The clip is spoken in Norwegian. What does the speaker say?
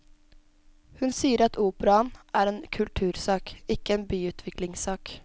Hun sier at operaen er en kultursak, ikke en byutviklingssak.